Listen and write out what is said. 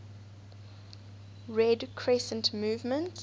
red crescent movement